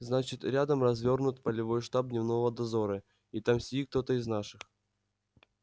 значит рядом развернут полевой штаб дневного дозора и там сидит кто-то из наших